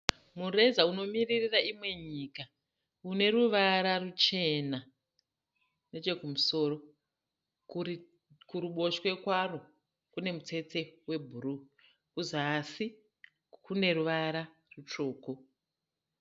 Mureza unomiririra imwe nyika. Une ruvara ruchena nechekumusoro. Kuruboshwe kwaro kune mutsetse webhuruu. Kuzasi kune ruvara rutsvuku.